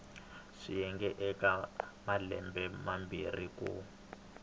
swiyenge eka malembe mambirhi ku